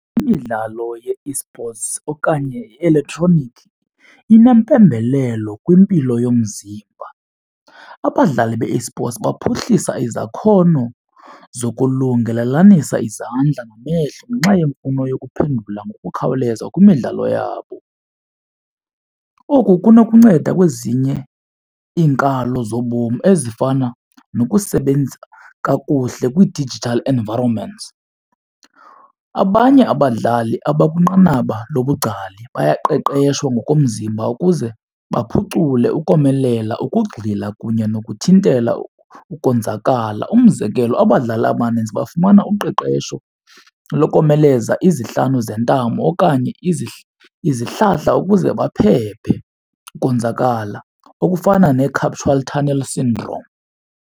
Imidlalo ye-esports okanye elektroniki inempembelelo kwimpilo yomzimba. Abadlali be-esports baphuhlisa izakhono zokulungiselelanisa izandla namehlo ngenxa yemfuno yokuphendula ngokukhawuleza kwimidlalo yabo. Oku kunokunceda kwezinye iinkalo zobomi ezifana nokusebenzisa kakuhle kwii-digital environments. Abanye abadlali abakwinqanaba lobungcali bayaqeqeshwa ngokomzimba ukuze baphucule ukomelela ukugxila kunye nokuthintela ukonzakala. Umzekelo abadlali abaninzi bafumana uqeqesho lokomeleza izihlanu zentamo okanye izihlahla ukuze baphephe ukonzakala okufana nee-carpal tunnel syndrome.